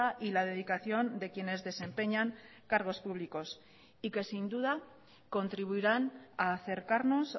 y la dedicación de quienes desempeñan cargos públicos y que sin duda contribuirán a acercarnos